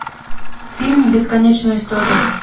фильм бесконечная история